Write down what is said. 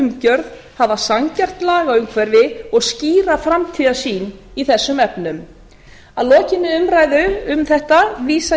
umgjörð hafa sanngjarnt lagaumhverfi og skýra framtíðarsýn í þessum efnum að lokinni umræðu um þetta vísa